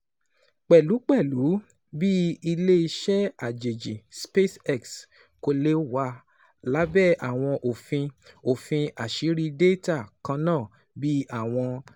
Pẹlupẹlu, bi ile-iṣẹ ajeji, SpaceX ko le wa labẹ awọn ofin ofin aṣiri data kanna bi awọn